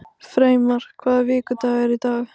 Freymar, hvaða vikudagur er í dag?